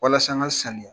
Walasa an ka sanuya